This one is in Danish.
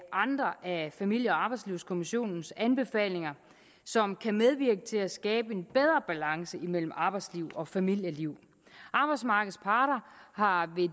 andre af familie og arbejdslivskommissionens anbefalinger som kan medvirke til at skabe en bedre balance mellem arbejdsliv og familieliv arbejdsmarkedets parter har ved